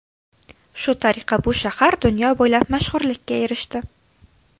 Shu tariqa bu shahar dunyo bo‘ylab mashhurlikka erishdi.